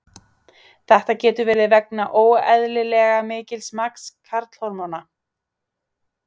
Þetta getur verið vegna óeðlilega mikils magns karlhormóna.